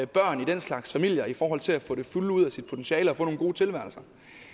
børn i den slags familier i forhold til at få det fulde ud af sit potentiale og få nogle gode tilværelser